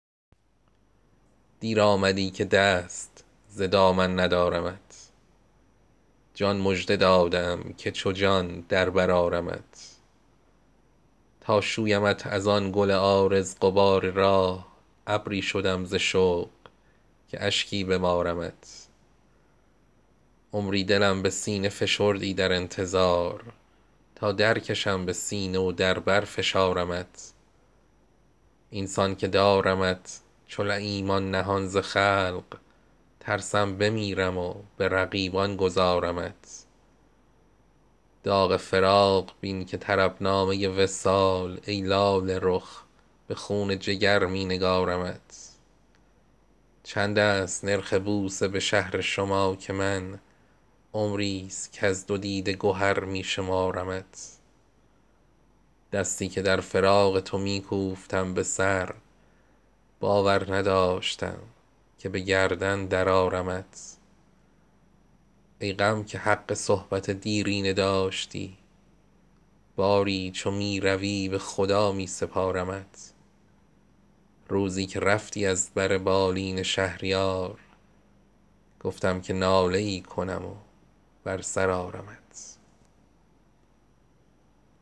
دیر آمدی که دست ز دامن ندارمت جان مژده داده ام که چو جان در بر آرمت تا شویمت از آن گل عارض غبار راه ابری شدم ز شوق که اشکی ببارمت عمری دلم به سینه فشردی در انتظار تا درکشم به سینه و در بر فشارمت این سان که دارمت چو لییمان نهان ز خلق ترسم بمیرم و به رقیبان گذارمت داغ فراق بین که طرب نامه وصال ای لاله رخ به خون جگر می نگارمت چند است نرخ بوسه به شهر شما که من عمری است کز دو دیده گهر می شمارمت دستی که در فراق تو می کوفتم به سر باور نداشتم که به گردن درآرمت ای غم که حق صحبت دیرینه داشتی باری چو می روی به خدا می سپارمت از جویبار چشم ترم سایه وامگیر تا چون مژه نهال تفرج بکارمت روزی که رفتی از بر بالین شهریار گفتم که ناله ای کنم و بر سر آرمت